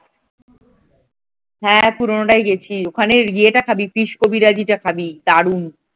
হ্যাঁ, পুরোনোটাই গেছি ওখানে ইয়ে টা খাবে fish কবিরাজিটা খাবি দারুন।